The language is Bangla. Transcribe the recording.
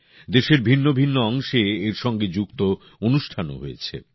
দেশের ভিন্ন ভিন্ন অংশে এর সঙ্গে যুক্ত অনুষ্ঠানও হয়েছে